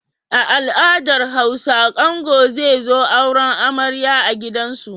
A al'adar Hausa angon zai zo auren amarya a gidansu.